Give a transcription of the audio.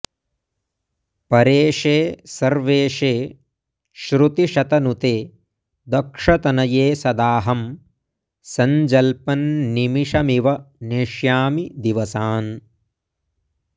परेशे सर्वेशे श्रुतिशतनुते दक्षतनये सदाऽहं सञ्जल्पन्निमिषमिव नेष्यामि दिवसान्